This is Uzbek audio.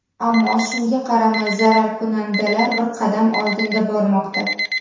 Ammo shunga qaramay, zararkunandalar bir qadam oldinda bormoqda.